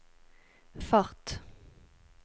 fart